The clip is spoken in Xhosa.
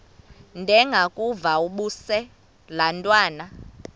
ndengakuvaubuse laa ntwana